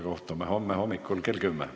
Kohtume homme hommikul kell 10.